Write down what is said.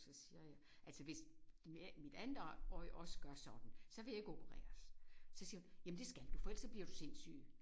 Så siger jeg altså hvis mit andet øje øje også gør sådan så vil jeg ikke opereres. Så siger hun jamen det skal du for ellers bliver du sindssyg